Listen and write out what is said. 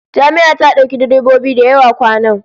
Jami'a ta dauki direbobi da yawa kwanan